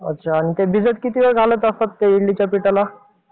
अच्छा आणि ते भिजत किती वेळ घालत असतात त्या इडलीच्या पिठाला.